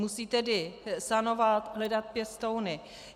Musí tedy sanovat, hledat pěstouny.